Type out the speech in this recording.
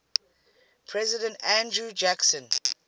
president andrew jackson